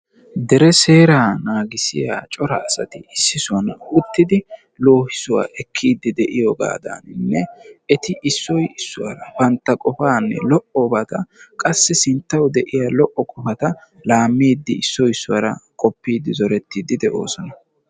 Dere seeraa naagissiya cora asati issi sohuwan uttidi loohissuwa ekkiiddi de'iyoogaadaninne eti issoy issuwaara bantta qofaani lo"obaata qassi sinttawu de'iya lo"o qofata laammiiddi issoy issuwaara qoppiiddi zorettiiddi de'oosona.